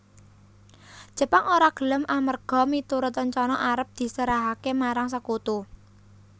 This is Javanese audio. Jepang ora gelem amerga miturut rencana arep diserahaké marang Sekutu